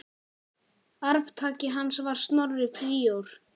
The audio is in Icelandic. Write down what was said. Arftaki hans var Snorri príor.